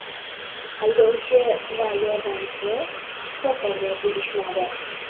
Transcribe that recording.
Haydovchi va yordamchi shifokorga tegishmadi.